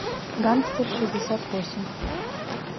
гангстер шестьдесят восемь